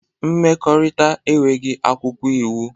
Mmekọrịta enweghị akwụkwọ iwu.